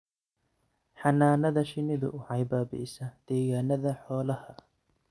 Xannaanada shinnidu waxay baabi'isaa degaannada xoolaha.